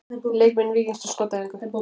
Leikmenn Víkings á skotæfingu.